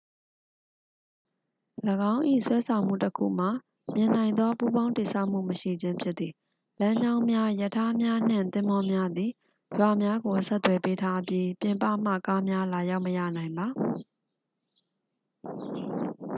၎င်း၏ ဆွဲဆောင်မှုတစ်ခုမှာ မြင်နိုင်သော ပူးပေါင်းတည်ဆောက်မှု မရှိခြင်းဖြစ်သည် လမ်းကြောင်းများ ရထားများနှင့် သင်္ဘောများသည် ရွာများကို ဆက်သွယ်ပေးထားပြီး ပြင်ပမှ ကားများလာရောက်မရနိုင်ပါ